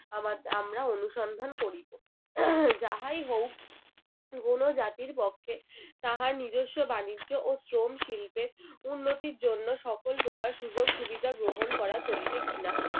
আমা~ আমরা অনুসন্ধান করিব। যাহাই হোক কোনো জাতির পক্ষে তাহার নিজেস্ব বাণিজ্য ও শ্রম শিল্পের উন্নতির জন্য সকল প্রকার সুযোগ সুবিধা গ্রহণ করা চলিবে কি না